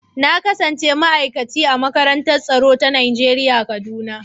Na kasance ma'aikaci a makarantar tsaro ta Najeriya kaduna.